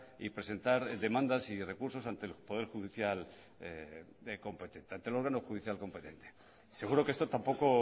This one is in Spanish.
y presentar demandas y recursos ante el poder judicial competente seguro que esto tampoco